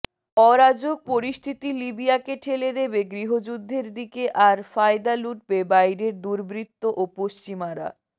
অরাজক পরিস্থিতি লিবিয়াকে ঠেলে দেবে গৃহযুদ্ধের দিকে আর ফায়দা লুটবে বাইরের দুর্বৃত্ত ও পশ্চিমারা